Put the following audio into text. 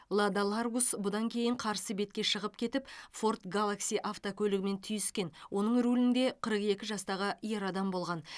лада ларгус бұдан кейін қарсы бетке шығып кетіп форд галакси автокөлігімен түйіскен оның рулінде қырық екі жастағы ер адам болған